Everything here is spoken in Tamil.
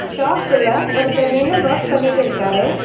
ஷாப்குள்ள ஒருத்தர் நின்னு வொர்க் பண்ணிட்டிருக்காரு.